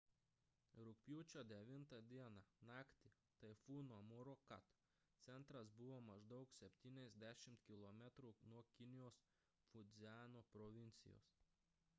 rugpjūčio 9 d naktį taifūno morakot centras buvo maždaug septyniasdešimt kilometrų nuo kinijos fudziano provincijos